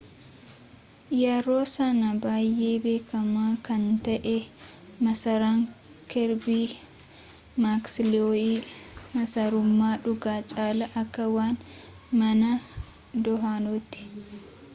yeroo sanaa baay'ee beekamaa kan ta'e masaraan kerbii maaksiloo'ii masarummaa dhugaa caalaa akka waan mana dahannooti